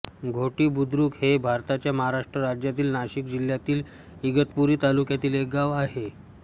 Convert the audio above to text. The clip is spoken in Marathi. घोटी बुद्रुक हे भारताच्या महाराष्ट्र राज्यातील नाशिक जिल्ह्यातील इगतपुरी तालुक्यातील एक गाव आहे